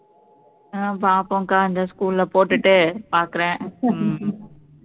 அஹ் பார்ப்போம் அக்கா இந்த school ல போட்டுட்டு பாக்குறேன் ஹம்